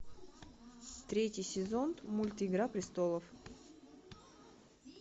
третий сезон мульт игра престолов